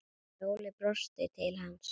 Sóley brosti til hans.